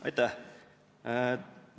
Aitäh!